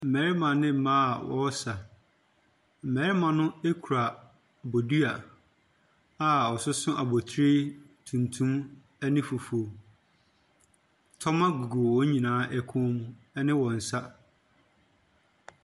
Mmarima ne mmaa a wɔsa. Mmarima no ekura bodua a wɔso so abotire tumtum ɛne fufuw. Tɔma gugu wɔn nyinaa ɛkɔn mu ɛne wɔn nsa.